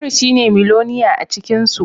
Umaro shine miloniya acikinsu